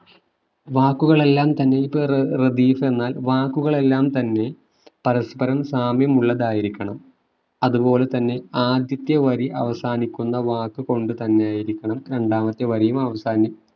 വാക്കുകളെല്ലാം തന്നെ ഇപ്പോ ഏർ റദീഫ് എന്നാൽ വാക്കുകളെല്ലാം തന്നെ പരസ്പരം സാമ്യമുള്ളതായിരിക്കണം അതുപോലെ തന്നെ ആദ്യത്തെ വരി അവസാനിക്കുന്ന വാക്ക് കൊണ്ട് തന്നെ ആയിരിക്കണം രണ്ടാമത്തെ വരിയും അവസാനി